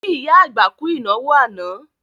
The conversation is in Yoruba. Kí ìyá àgbà kú ìnáwó àná